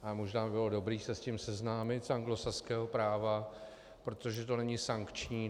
A možné by bylo dobré se s tím seznámit z anglosaského práva, protože to není sankční.